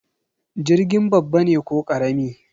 Jirgin babba ne ko karama?